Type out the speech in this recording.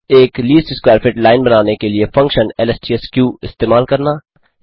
2एक least square fit line बनाने के लिए फंक्शन lstsq इस्तेमाल करना